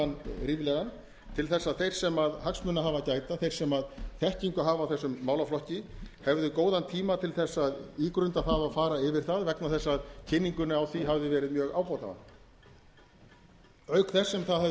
ríflegan til þess að þeir sem hagsmuna hafa að gæta og þeir sem þekkingu hafa á þessum málaflokki hefðu góðan tíma til að ígrunda það og fara yfir það vegna þess að kynningunni á því hafði verið mjög ábótavant auk þess sem það hafði